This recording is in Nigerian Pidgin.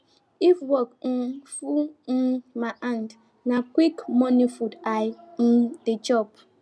if work um full um my hand na quick quick morning food i um dey chop